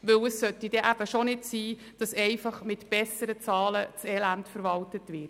Denn es sollte eben nicht sein, dass das Elend einfach mit besseren Zahlen verwaltet wird.